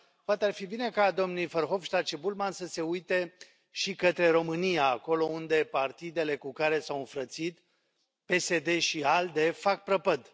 Dar poate ar fi bine ca domnii Verhofstadt și Bullmann să se uite și către România, acolo unde partidele cu care s au înfrățit, PSD și ALDE, fac prăpăd.